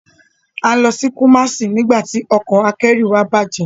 A ń lọ sí Kumasi nígbà tí ọkọ̀ akẹ́rù wa bạje.